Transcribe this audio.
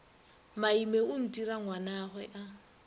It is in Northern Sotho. maime o ntira ngwanagwe a